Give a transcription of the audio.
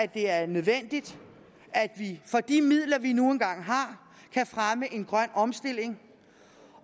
det er nødvendigt at vi for de midler vi nu engang har kan fremme en grøn omstilling